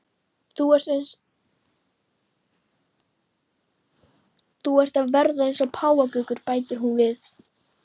Þú ert að verða eins og páfagaukur, bætir hún við.